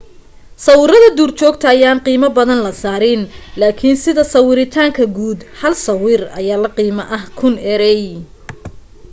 sawiradda duurjoogta ayaa qiimo badan la saarin laakin sida sawiritaanka guud hal sawir ayaa la qiimo ah kun erey